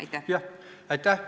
Aitäh!